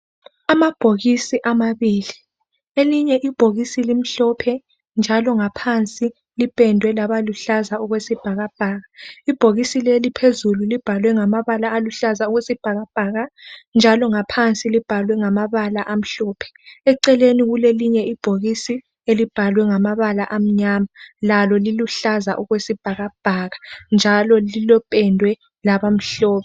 Amabhokisi amabili. Elinye ibhokisi limhlophe njalo ngaphansi lipendwe labaluhlaza okwesibhakabhaka. Ibhokisi leli phezulu libhalwe ngamabala aluhlaza okwesibhakabhaka njalo ngaphansi libhalwe ngamabala amhlophe. Eceleni kulelinye ibhokisi elibhalwe ngamabala amnyama lalo liluhlaza okwesibhakabhaka njalo lipendwe labamhlophe.